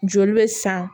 Joli bɛ san